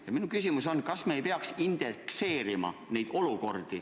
" Ja minu küsimus on: kas me ei peaks neid olukordi indekseerima?